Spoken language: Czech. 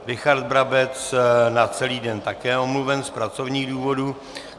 Richard Brabec na celý den také omluven z pracovních důvodů.